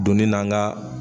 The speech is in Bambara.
Doni na an ka.